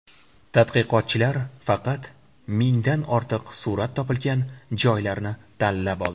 Tadqiqotchilar faqat mingdan ortiq surat topilgan joylarni tanlab oldi.